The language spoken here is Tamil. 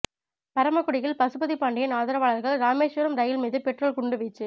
பரமக்குடியில் பசுபதி பாண்டியன் ஆதரவாளர்கள் ராமேஸ்வரம் ரயில் மீது பெட்ரோல் குண்டு வீச்சு